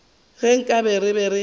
ge nkabe re be re